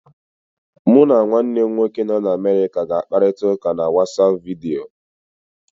Mụ na nwanne m nwoke nọ n'Amerịka ga-akparita ụka na WatsAapụ vidiyo.